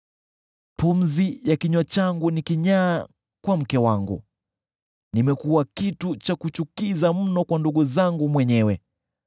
Pumzi ya kinywa changu ni kinyaa kwa mke wangu; nimekuwa chukizo mno kwa ndugu zangu mwenyewe.